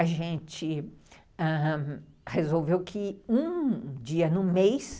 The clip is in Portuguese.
A gente ãh... resolveu que um dia no mês